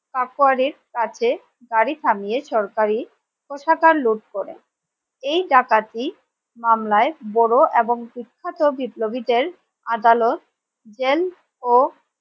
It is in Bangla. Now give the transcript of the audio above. ক্কাকুয়ারির কাছে গারি থামিয়ে সরকারি প্রসাধন লুট করে এই ডাকাতি মামলায় বড় এবং বিখ্যাত বিপ্লবীদের আদালত জেল ও